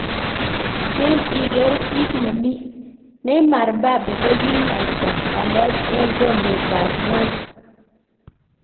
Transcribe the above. Chill iker kitnemi:Neymar Mbappe kokinaita walet eng kombet tab ngwony.